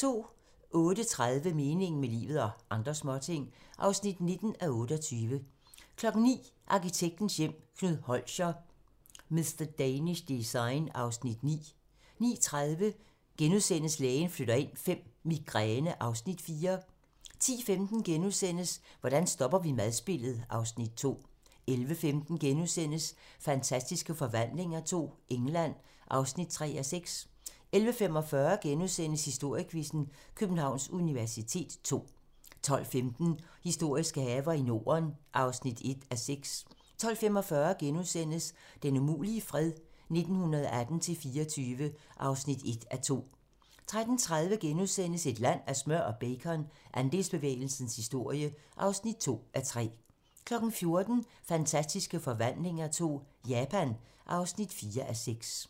08:30: Meningen med livet - og andre småting (19:28) 09:00: Arkitektens Hjem: Knud Holscher - "Mr. Danish Design" (Afs. 9) 09:30: Lægen flytter ind V - Migræne (Afs. 4)* 10:15: Hvordan stopper vi madspildet? (Afs. 2)* 11:15: Fantastiske Forvandlinger II - England (3:6)* 11:45: Historiequizzen: Københavns universitet ll * 12:15: Historiske haver i Norden (1:6) 12:45: Den umulige fred - 1918-24 (1:2)* 13:30: Et land af smør og bacon - Andelsbevægelsens historie (2:3)* 14:00: Fantastiske Forvandlinger II - Japan (4:6)